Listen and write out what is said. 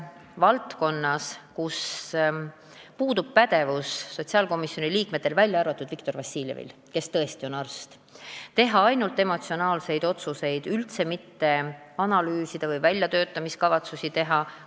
Valdkonnas, kus sotsiaalkomisjoni liikmetel osaliselt puudub pädevus, välja arvatud Viktor Vassiljevil, kes tõesti on arst, on riskantne teha ainult emotsionaalseid otsuseid, üldse mitte analüüsida või väljatöötamiskavatsusi mitte teha.